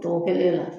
Tɔ kelen na